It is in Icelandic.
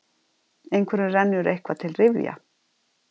Einhverjum rennur eitthvað til rifja